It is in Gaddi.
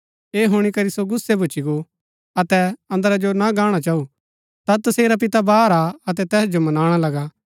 ऐह हुणी करी सो गुस्सै भूच्ची गो अतै अन्दरा जो ना गाणा चाऊ ता तसेरा पिता बाहर आ अतै तैस जो मनाणा लगा